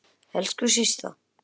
Elsku vinur.